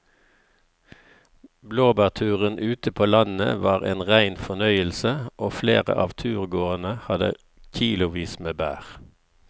Blåbærturen ute på landet var en rein fornøyelse og flere av turgåerene hadde kilosvis med bær.